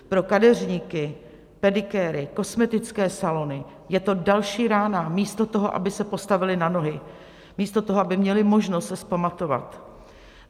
Pro kadeřníky, pedikéry, kosmetické salony je to další rána místo toho, aby se postavili na nohy, místo toho, aby měli možnost se vzpamatovat.